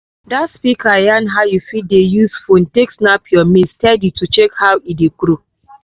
that speaker yan how you fit dey use phone take snap your maize steady to check how e dey grow.